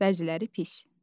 Bəziləri pis.